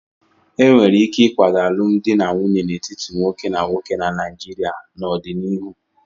E nwere ike ịkwado alụmdi na nwunye n'etiti nwoke na nwoke na Naijiria n'ọdịnihu.